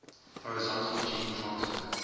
horizontal gene transfer